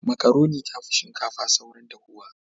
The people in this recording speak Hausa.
Makaroni tafi shinkafa saurin dahuwa